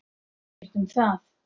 Ekkert um það.